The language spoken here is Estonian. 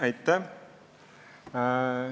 Aitäh!